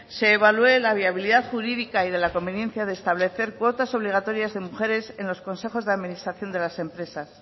la viabilidad jurídica y de la conveniencia de establecer cuotas obligatorias de mujeres en los consejos de administración de las empresas